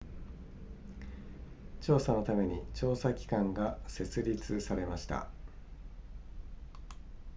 調査のために調査機関が設立されました